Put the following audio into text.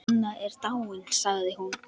Anna er dáin sagði hún.